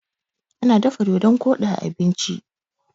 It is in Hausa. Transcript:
ana dafa dodon Kodi a abinci